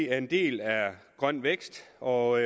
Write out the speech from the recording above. er en del af grøn vækst og